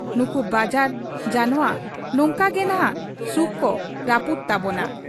ᱱᱩᱠᱩ ᱵᱟᱡᱟᱨ ᱡᱟᱱᱶᱟ ᱱᱚᱝᱠᱟ ᱜᱮᱱᱷᱟᱜ ᱥᱩᱠ ᱠᱚ ᱨᱟᱹᱯᱩᱫᱽ ᱛᱟᱵᱚᱱᱟ ᱾